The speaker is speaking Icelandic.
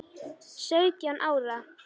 Sautján ára.